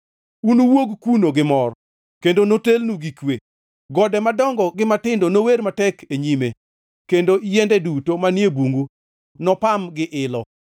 Unuwuog kuno gi mor kendo notelnu gi kwe, gode madongo gi matindo nower matek e nyime kendo yiende duto manie bungu nopam gi ilo.